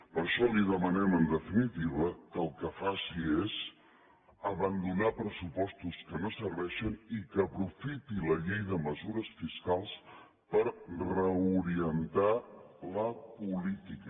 per això li demanem en definitiva que el que faci és abandonar pressupostos que no serveixen i que aprofiti la llei de mesures fiscals per reorientar la política